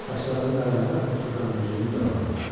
Saçlarımı darayanda otururam güzgünün qabağında.